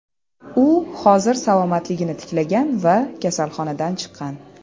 U hozir salomatligini tiklagan va kasalxonadan chiqqan.